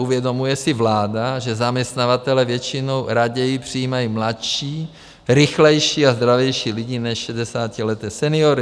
Uvědomuje si vláda, že zaměstnavatelé většinou raději přijímají mladší, rychlejší a zdravější lidi než šedesátileté seniory?